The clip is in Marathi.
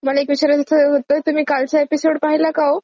मला एक विचारायचं होत तुम्ही कालचा एपिसोड पाहिला का हो?